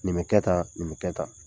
Nin be kɛ tan, nin be kɛ tan.